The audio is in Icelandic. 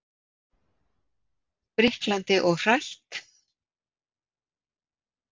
Spriklandi og hrætt.